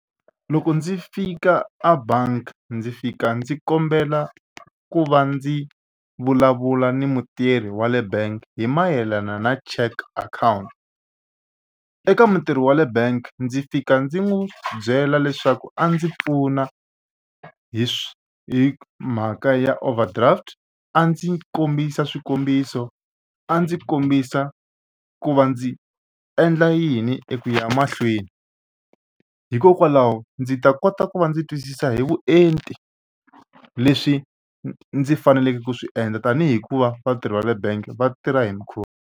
Loko ndzi fika a bangi ndzi fika ndzi kombela ku va ndzi vulavula ni mutirhi wa le bank hi mayelana na cheque akhawunti. Eka mutirhi wa le bank ndzi fika ndzi n'wi byela leswaku a ndzi pfuna hi swi hi mhaka ya overdraft a ndzi kombisa swikombiso a ndzi kombisa ku va ndzi endla yini eku ya mahlweni hikokwalaho ndzi ta kota ku va ndzi twisisa hi vuenti leswi ndzi faneleke ku swi endla tanihi ku va vatirhi va le bank va tirha hi .